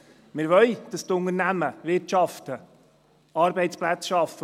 Wir wollen, dass die Unternehmen wirtschaften, Arbeitsplätze schaffen.